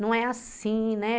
Não é assim, né?